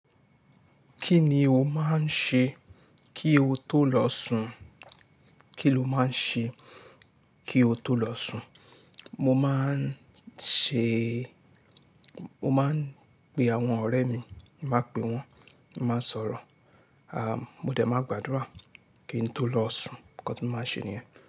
Kí ni o máa ń ṣe kí o tó lọ sùn? Kí lo máa ń ṣe kí o tó lọ sùn? Mo máa ń ṣe-- mo máa ń pe àwọn ọ̀rẹ́ mi, máa pè wọ́n, máa ń sọ̀rọ̀, àm, mo dẹ̀ máa gbàdúrà kí n tó lọ sùn, nǹkan tí mo máa ń ṣe nìyẹn.